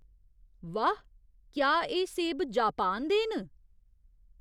वाह् ! क्या एह् सेब जापान दे न?